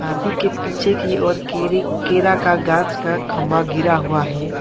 हाथी के पीछे की ओर केरे केरा का गांछ का खंभा गिरा हुआ है।